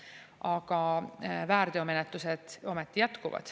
Aga väärteomenetlused ometi jätkuvad.